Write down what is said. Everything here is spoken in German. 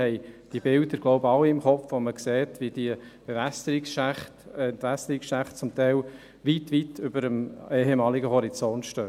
Wir haben die Bilder, glaube ich, alle im Kopf, wo man sieht, wie die Bewässerungsschächte weit, weit über dem ehemaligen Horizont stehen.